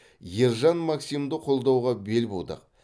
ержан максимді қолдауға бел будық